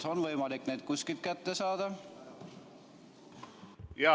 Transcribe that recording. Kas on võimalik need kuskilt kätte saada?